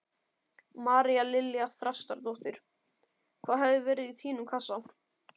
María Lilja Þrastardóttir: Hvað hefði verið í þínum kassa?